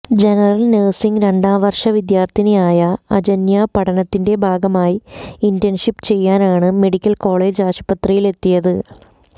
general nursing രണ്ടാം വര്ഷ വിദ്യാര്ത്ഥിനിയായ അജന്യ പഠനത്തിന്റെ ഭാഗമായി ഇന്റേണ്ഷിപ്പ് ചെയ്യാനാണ് മെഡിക്കല് കോളജ് ആസ്പത്രിയിലെത്തിയത്